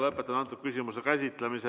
Lõpetan selle küsimuse käsitlemise.